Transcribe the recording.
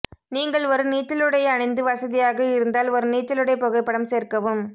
நீங்கள் ஒரு நீச்சலுடை அணிந்து வசதியாக இருந்தால் ஒரு நீச்சலுடை புகைப்படம் சேர்க்கவும்